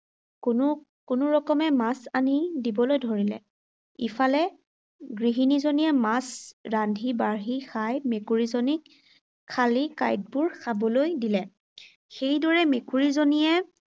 কোনো কোনোৰকমে মাছ আনি দিবলৈ ধৰিলে। ইফালে গৃহিনীজনীয়ে মাছ ৰান্ধি-বাঢ়ি খাই মেকুৰীজনীক খালি কাঁইটবোৰ খাবলৈ দিলে। সেইদৰে মেকুৰীজনীয়ে